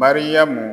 Mariyamu